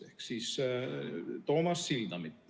Pean silmas Toomas Sildamit ...